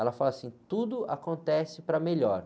Ela fala assim, tudo acontece para melhor.